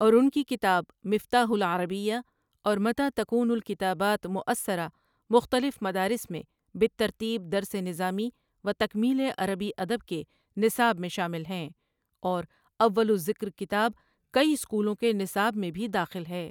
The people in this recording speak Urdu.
اور ان کی کتاب مفتاح العربیہ اور متی تكون الكتابات مؤثرة مختلف مدارس میں بالترتیب درس نظامی و تکمیلِ عربی ادب کے نصاب میں شامل ہیں اور اول الذکر کتاب کئی اسکولوں کے نصاب میں بھی داخل ہے۔ ٍ